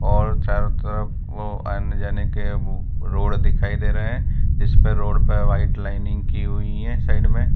और चारों तरफ वो आने जाने के वो रोड दिखाई दे रहे हैं जिसपे रोड पे व्हाइट लाइनिंग की हुईं हैं साइड में।